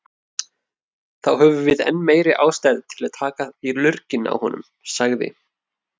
Þá höfum við enn meiri ástæðu til að taka í lurginn á honum, sagði